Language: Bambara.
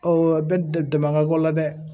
bɛ damakabɔ la dɛ